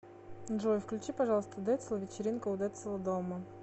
джой включи пожалуйста децл вечеринка у децла дома